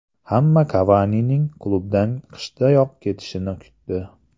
Hamma Kavanining klubdan qishdayoq ketishini kutdi.